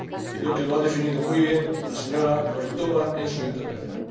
Creo que lo ha definido muy bien la señora Roithová en su intervención.